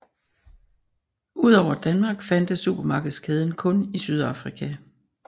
Udover Danmark fandtes supermarkedskæden kun i Sydafrika